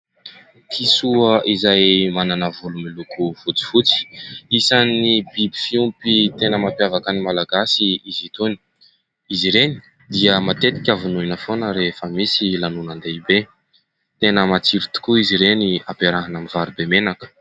Kisoa izay manana volo miloko fotsifotsy. Isany biby fiompy tena mampiavaka ny malagasy izy itony. Izy ireny dia matetika vonoina foana rehefa misy lanonan-dehibe. Tena matsiro tokoa izy ireny ampiarahana amin'ny vary be menaka.